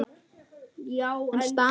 Missa hana, hvernig þá?